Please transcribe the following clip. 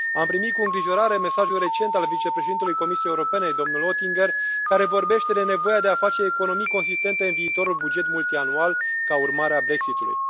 Am primit cu îngrijorare mesajul recent al vicepreședintelui Comisiei Europene, domnul Oettinger, care vorbește de nevoia de a face economii consistente în viitorul buget multianual ca urmare a Brexit ului.